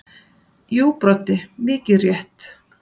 Jú Broddi mikið rétt.